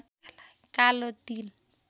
कालो तिल